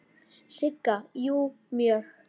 Sigga: Jú, mjög.